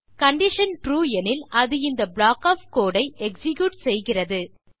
condition true எனில் அது இந்த ப்ளாக் ஒஃப் கோடு ஐ எக்ஸிக்யூட் செய்கிறது